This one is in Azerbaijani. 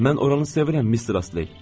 Mən oranı sevirəm, Mister Astley.